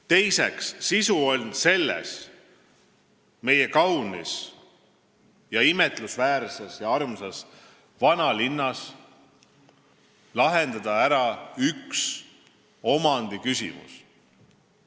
Teiseks on sisu selles, et meie kaunis, imetlusväärses ja armsas vanalinnas saaks lahendada ära ühe omandiküsimuse.